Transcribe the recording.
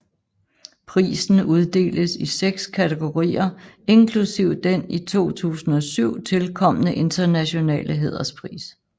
Prisen uddeles i seks kategorier inklusive den i 2007 tilkomne internationale hæderspris